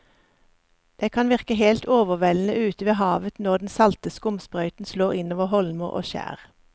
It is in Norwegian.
Det kan virke helt overveldende ute ved havet når den salte skumsprøyten slår innover holmer og skjær.